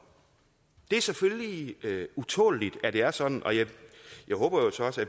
det er selvfølgelig utåleligt at det er sådan og jeg håber jo så også